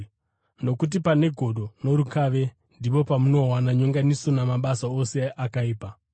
Nokuti pane godo norukave, ndipo pamunowana nyonganiso namabasa ose akaipa.